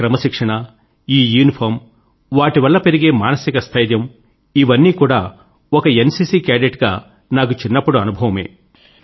ఈ క్రమశిక్షణ ఈ యూనిఫారమ్ వాటి వల్ల పెరిగే మానసిక స్థైర్యం ఇవన్నీ కూడా ఒక ఎన్సీసీ కేడెట్ గా నాకు చిన్నప్పుడు అనుభవమే